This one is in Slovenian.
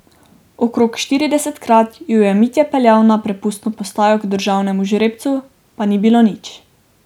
Okrog štiridesetkrat jo je Mitja peljal na prepustno postajo k državnemu žrebcu, pa ni bilo nič.